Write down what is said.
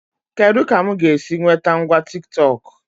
Kedụ ka mụ ga-esi nwete ngwa Tiktọk?